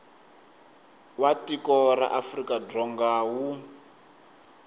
wa tiko ra afrikadzonga wu